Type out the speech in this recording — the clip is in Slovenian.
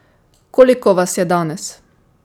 Koliko vas je danes?